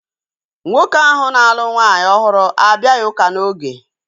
Nwoke ahu na-alụ nwaanyị ọhụrụ abịaghị ụka n'oge